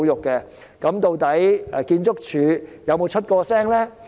究竟建築署有否表達意見呢？